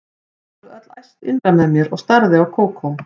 Ég varð öll æst innra með mér og starði á Kókó.